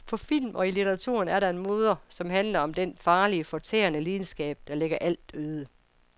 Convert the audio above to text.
På film og i litteraturen er der en moder, som handler om den farlige, fortærende lidenskab, der lægger alt øde.